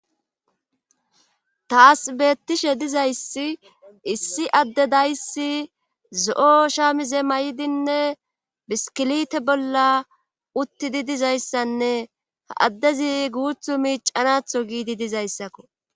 taas beettishe dizayssi issi adde dayssi zo7o shaamize may7dinne biskilite bolla uttidi dizayssanne ha addezi guuthu miicanatho giidi dizayssakko